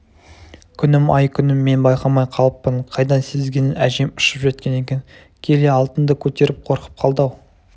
күнім-ай күнім мен байқамай қалыппын қайдан сезгенін әжем ұшып жеткен екен келе алтынды көтеріп қорқып қалды-ау